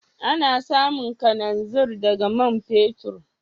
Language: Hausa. Ana samun kalanzir daga man fetur.